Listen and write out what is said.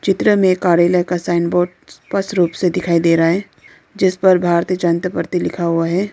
चित्र में कार्यालय का साइन बोर्ड स्पष्ट रूप से दिखाई दे रहा है जिस पर भारतीय जनता पार्टी लिखा हुआ है।